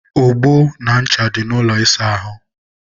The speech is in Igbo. ogbo na ncha nọ n'ụlọ ịsa ahụ